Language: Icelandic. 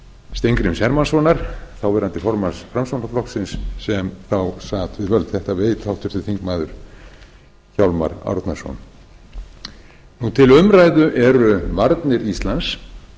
steingríms hermannssonar þáv formanns framsóknarflokksins sem þá sat við völd þetta veit háttvirtir þingmenn hjálmar árnason til umræðu eru varnir íslands